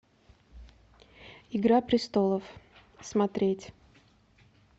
игра престолов смотреть